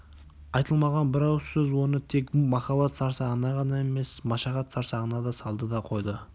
айтылмаған бір ауыз сөз оны тек махаббат сарсаңына ғана емес машақат сарсаңына да салды да қойды